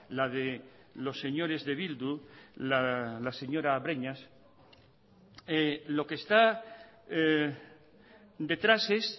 la de los señores de bildu la señora breñas lo que está detrás es